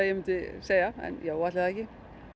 segja en jú ætli það ekki